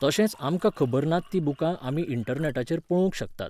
तशेंच आमकां खबर नात तीं बुकां आमी इण्टरनॅटाचेर पळोवंक शकतात.